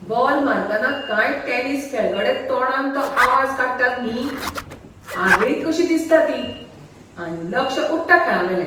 Ball मारतना कांय tennis खेळगडे तोंडान तो आवाज काडटात न्ही, आगळीक कशी दिसता ती, आनी लक्ष उडटा खेळावेलें.